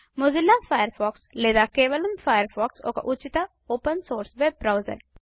Mozilla Firefox లేదా కేవలం Firefox ఒక ఉచిత ఓపెన్ సోర్స్ వెబ్ బ్రౌజర్